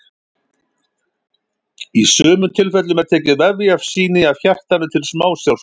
í sumum tilfellum er tekið vefjasýni af hjartanu til smásjárskoðunar